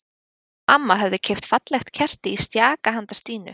Hún og amma höfðu keypt fallegt kerti í stjaka handa Stínu.